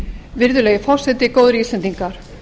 virðulegi forseti góðir íslendingar